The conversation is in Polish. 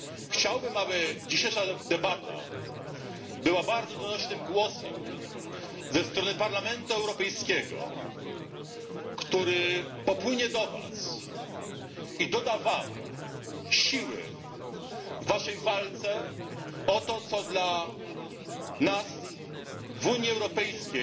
Chciałbym, aby dzisiejsza debata była bardzo donośnym głosem ze strony Parlamentu Europejskiego, który popłynie do Was i doda Wam siły w Waszej walce o to, co dla nas w Unii Europejskiej